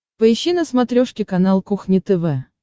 поищи на смотрешке канал кухня тв